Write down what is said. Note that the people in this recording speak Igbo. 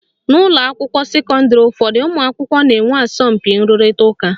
N'ụlọakwụkwọ sekọndịrị ụfọdụ, ụmụakwụkwọ na-enwe asọmpi nrụrịta ụka